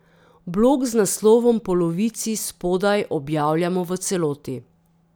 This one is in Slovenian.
Blog z naslovom Polovici spodaj objavljamo v celoti.